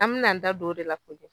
An mina an da don o de la